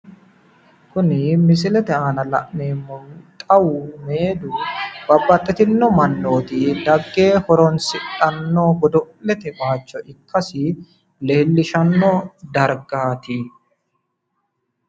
kuni misilete aana la'neemmohu xawu meedu babbaxitino mannoti dagge horonsidhanno godo'lete bayicho ikkasi leellishshanno dargaati.